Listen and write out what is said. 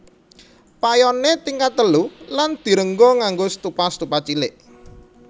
Payoné tingkat telu lan direngga nganggo stupa stupa cilik